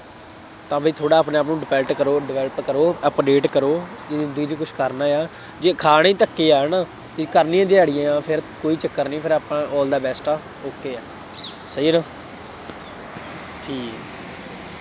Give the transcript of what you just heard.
ਤਾਂ ਬਈ ਥੋੜ੍ਹਾ ਆਪਣੇ ਆਪ ਨੂੰ develop ਕਰੋ develop ਕਰੋ, update ਕਰੋ, ਤੂੰ ਵੀਰ ਕੁੱਛ ਕਰਨਾ ਹੈ, ਜੇ ਖਾਣੇ ਹੀ ਧੱਕੇ ਹੈ ਨਾ, ਅਤੇ ਕਰਨੀਆਂ ਦਿਹਾੜੀਆਂ ਤਾਂ ਫੇਰ ਕੋਈ ਚੱਕਰ ਨਹੀਂ, ਫੇਰ ਆਪਾਂ all the best ਆ, okay ਆ, ਸਹੀ ਹੈ ਨਾ, ਠੀਕ